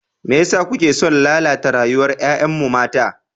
Me yasa kuke son lalata rayuwar 'ya'yanmu mata?